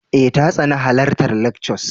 Eh ta tsani halartar lectures.